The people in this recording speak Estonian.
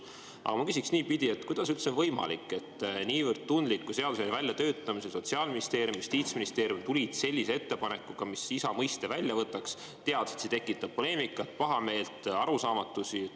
Aga ma küsin niipidi: kuidas üldse on võimalik, et niivõrd tundliku seaduse väljatöötamisel Sotsiaalministeerium ja Justiitsministeerium tulid ettepanekuga isa mõiste välja võtta, teades, et see tekitab poleemikat, pahameelt, arusaamatusi?